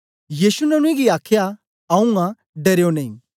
यीशु ने उनेंगी आखया आऊँ आं डरयो नेई